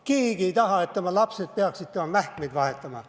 Keegi ei taha, et tema lapsed peaksid tema mähkmeid vahetama.